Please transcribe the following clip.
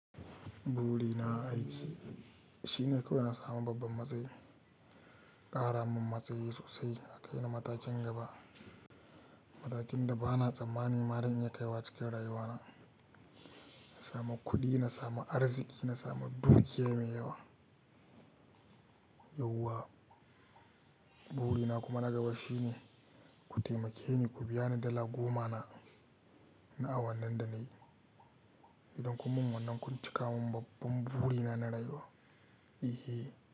Burina a aiki shine kawai nasamu babban matsayi, a ƙara min matsayi sosai, a kai ni matakin gaba, matakin da bana tsammani ma zan iya kaiwa cikin rayuwana. Na samu kuɗi, na samu arziki, na samu dukiya mai yawa. Yauwa, burina kuma na gaba shine ku taimake ni ku biya ni dala goma na, na awannin da nayi, idan kun mun wannan kun cika mun babban burina na rayuwa, eh.